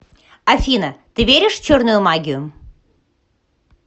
афина ты веришь в черную магию